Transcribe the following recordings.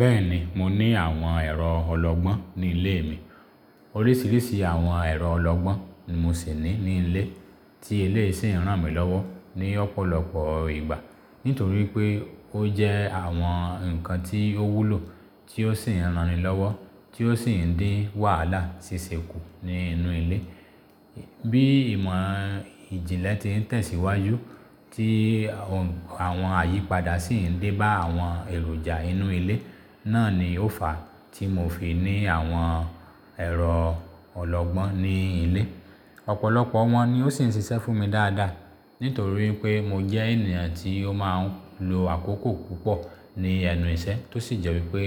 Bẹ́ẹ̀ni, mo ní àwọn ẹ̀rọ ọlọgbọ́n ní ilé mi. Oríṣiríṣi àwọn ẹ̀rọ ọlọgbọ́n ni mo sì ní ní ilé tí iléyi sì ń ràn mí lọ́wọ́ ní ọ̀pọ̀lọpọ̀ ìgbà. Nítorí pé ó jẹ́ àwọn ǹkan tí ó wúlò tí ó sì ń ranni lọ́wọ́, tí ó sì ń dín wàhálà ṣiṣẹ́ kù ní inú ilé. Bí ìmọ̀ ìjìnlẹ̀ ti ń tẹ̀síwájú tí àwọn àyípadà sì ń dé bá àwọn èròjà inú ilé, náà ni ó fà á tí mo fi ní àwọn ẹ̀rọ ọlọgbọ́n ní ilé. Ọ̀pọ̀lọpọ̀ wọn ni ó sì ń ṣiṣẹ́ fún mi dáadáa. Nítorí pé mo jẹ́ ènìyàn tí ó máa ń lo àkókò púpọ̀ ní ẹnu ìṣẹ́ tó sì jẹ́ wípé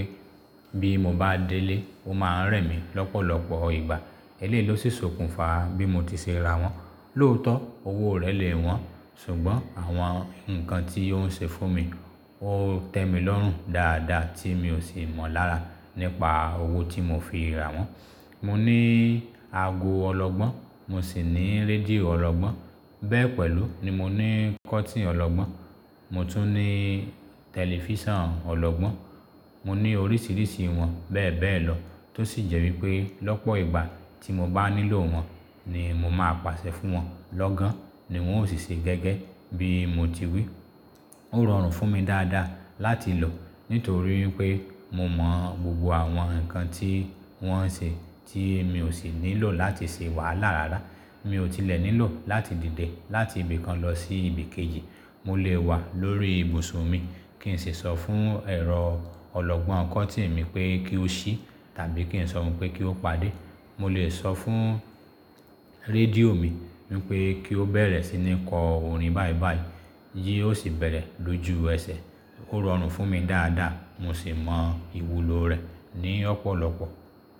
bí mo bá délé ó máa ń rẹ̀ mí lọ́pọ̀lọpọ̀ ìgbà. Eléyi ló si sokún fà bí mo ti ṣe ra wọn. Lóòótọ́ owó rẹ̀ lè wọ́n ṣùgbọ́n àwọn ǹkan tí ó ń ṣe fún mi, ó tẹ mi lọ́rùn dáadáa tí mi ò sì mọ lára nípa owó tí mo fi ra wọn. Mo ní ago ọlọgbọ́n, mo sì ní rédíò ọlọgbọ́n, bẹ́ẹ̀ pẹ̀lú ni mo ní kọ́tìnì ọlọgbọ́n, mo tún ní tẹlifíṣàn ọlọgbọ́n. Mo ní oríṣiríṣi wọn bẹ́ẹ̀ bẹ́ẹ̀ lọ tó sì jẹ́ wípé lọ́pọ̀ ìgbà tí mo bá nílò wọn ni mo máa pàṣẹ fún wọn, lọ́gán ni wọ́n ó sì ṣe gẹ́gẹ́ bí mo ti wí. Ó rọrùn fún mi dáadáa láti lò nítorí pé mo mọ gbogbo àwọn ǹkan tí wọ́n ń ṣe tí mi ò sì nílò láti ṣe wàhálà rárá. Mi ò tilẹ̀ nílò láti dìde láti ibì kan lọ sí ibì kejì, mo lè wà lórí ìbùsùn mi kí n sì sọ fún ẹ̀rọ ọlọgbọ́n kọ́tìnì mi pé kí ó ṣí tàbí kí n sọ fún un pé kí ó padé. Mo lè sọ fún rédíò mi wípé kí ó bẹ̀rẹ̀ sí ní kọ orin bàìbàì, yí ó sì bẹ̀rẹ̀ lójú ẹsẹ̀. Ó rọrùn fún mi dáadáa, mo sì mọ ìwúlò rẹ̀ ní ọ̀pọ̀lọpọ̀.